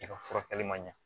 I ka furakɛli man ɲɛ